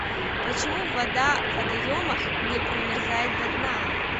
почему вода в водоемах не промерзает до дна